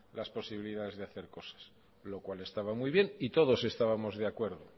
las posibilidades de hacer cosas lo cual estaba muy bien y todos estábamos de acuerdo